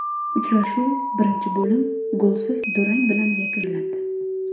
Uchrashuv birinchi bo‘lim golsiz durang bilan yakunlandi.